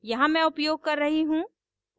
यहाँ मैं उपयोग कर रही हूँ